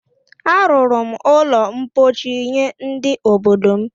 A rụrụ m ụlọ ḿkpóchí nye ndị obodo m